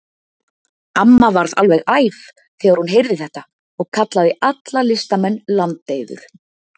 Amma varð alveg æf þegar hún heyrði þetta og kallaði alla listamenn landeyður.